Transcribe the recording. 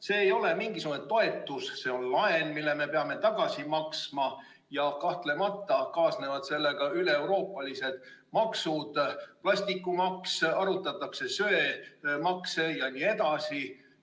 See ei ole mingisugune toetus, see on laen, mille me peame tagasi maksma, ja kahtlemata kaasnevad sellega üleeuroopalised maksud, nagu plastikumaks, juba arutatakse söemaksu jne.